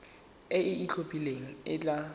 e e itlhophileng e tla